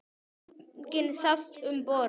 Enginn sást um borð.